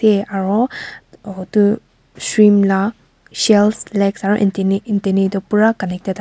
eh aro otu shrimp la shells legs aro antenni antennae toh pura connected a--